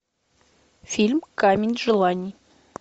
фильм камень желаний